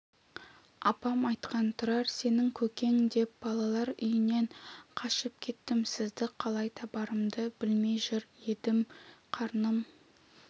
апам айтқан тұрар сенің көкең деп балалар үйінен қашып кеттім сізді қалай табарымды білмей жүр едім қарным